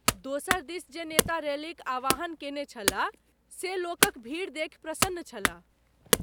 दोसर दिस जे नेता रैलीक आह्वान केने छला से लोकक भीड़ देखि प्रसन्न छला।